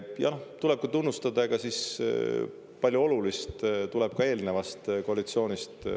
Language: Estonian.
Jah, tuleb ka tunnustada, et palju olulist tuleneb eelnevast koalitsioonist.